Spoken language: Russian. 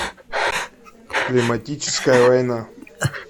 климатическая война